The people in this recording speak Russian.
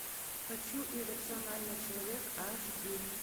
хочу иррациональный человек аш ди